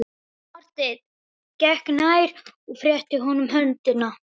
Marteinn gekk nær og rétti honum höndina.